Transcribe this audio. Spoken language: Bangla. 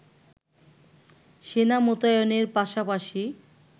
সেনা মোতায়েনের পাশাপাশি